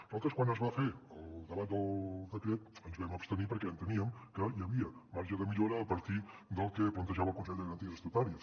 nosaltres quan es va fer el debat del decret ens vam abstenir perquè enteníem que hi havia marge de millora a partir del que plantejava el consell de garanties estatutàries